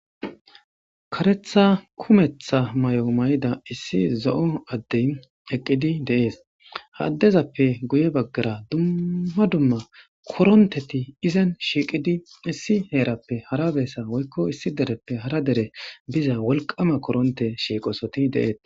karetha kumetha may7o may7ida issi zo7o addey eqqidi deees haaddezappe guye baggara dumma dumma koronteti izen shiiqidi issi heerappe hara beessa woykko issi dereppe hara dere biza wolqama koronte shiiqosoti deees